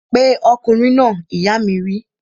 Pe ọkùnrin náà! ìyá mi wí